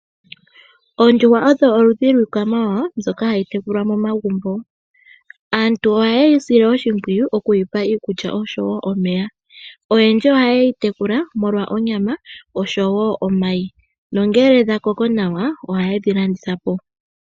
Oondjuhwa odho oludhi lwiikwamawawa mbyoka hayi tekulwa momagumbo. Aantu ohaye yi sile oshimpwiyu oku yi pa iikulya oshowo omeya. Oyendji ohaye yi tekula molwa onyama oshowo omayi, nongele dha koko nawa ohaye dhi landitha po.